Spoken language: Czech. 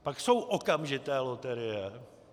Pak jsou okamžité loterie.